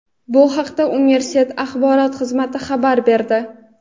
Bu haqda universitet Axborot xizmati xabar berdi.